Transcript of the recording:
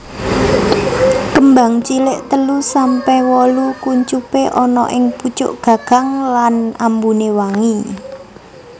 Kembangcilik telu sampe wolu kuncupé ana ing pucuk gagang lan ambuné wangi